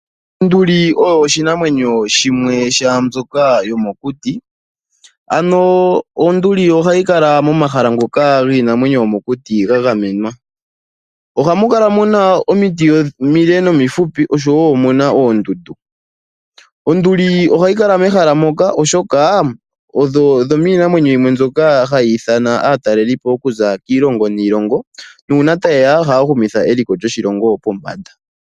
Onduli oyo oshinamwenyo shimwe shaambyoka hayi kala mokuti. Ano onduli ohayi kala momahala ngoka giinamwenyo yomokuti ga gamenwa. Ohamu kala muna omiti omile nomihupi oshowo omuna oondundu. Onduli ohayi kala mehala moka oshoka oyo yomiinamwenyo mbyoka hayi nana aatalelipo okuza kiilongo niilongo nuuna taye ya ohaya humitha eliko lyoshilongo pombanda.